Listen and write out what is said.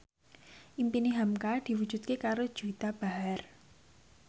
impine hamka diwujudke karo Juwita Bahar